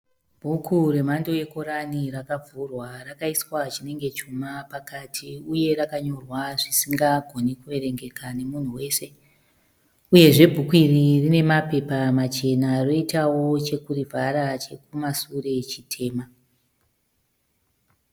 Bhuku remando yeKorani rakavhurwa rakaiswa chinenge chuma pakati uye rakanyorwa zvisingagoni kuverengeka nemunhu wese, uyezve bhuku iri rine mapepa machena roitavo chekurivhara chekumasure chitema.